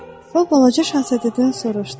O Balaca Şahzadədən soruştu: